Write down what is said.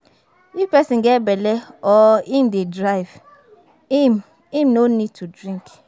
If person get belle or im dey drive, im im no need to drink